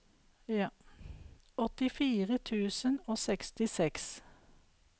åttifire tusen og sekstiseks